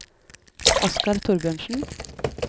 Oskar Thorbjørnsen